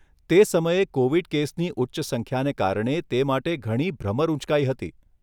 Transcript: તે સમયે કોવિડ કેસની ઉચ્ચ સંખ્યાને કારણે તે માટે ઘણી ભ્રમર ઊંચકાઈ હતી.